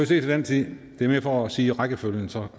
til den tid det er mere for at sige rækkefølgen så